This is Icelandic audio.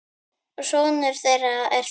Sonur þeirra er Þór.